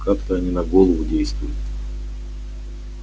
как-то они на голову действуют